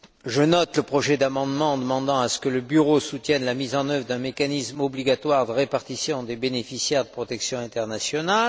Je note le projet d'amendement demandant que le bureau soutienne la mise en œuvre d'un mécanisme obligatoire de répartition des bénéficiaires de la protection internationale.